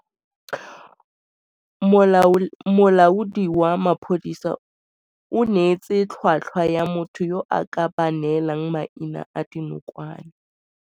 Molaodi wa maphodisa o neetse tlhwatlhwa ya motho yo a ka ba neelang maina a dinokwane.